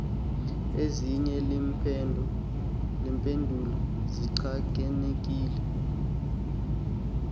ezinye iimpendulo zichanekile